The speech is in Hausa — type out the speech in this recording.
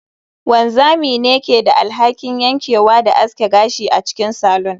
Wanzami ne ke da alhakin yankewa da aske gashi a cikin salon